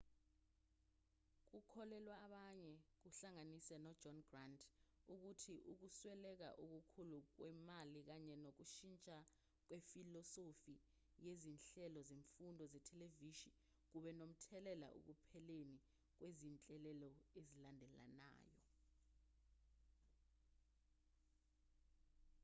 kukholelwa abanye kuhlanganise nojohn grant ukuthi ukusweleka okukhulu kwemali kanye nokushintsha kwefilosofi yezinhlelo zemfundo zethelevishini kube nomthelela ekupheleni kwezinhlelo ezilandelanayo